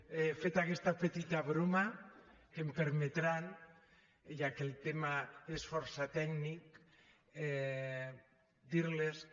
bé feta aquesta petita broma que em permetran ja que el tema és força tècnic dir los que